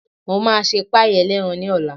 Mo máa ṣe páàì ẹlẹ́ran ní ọ̀la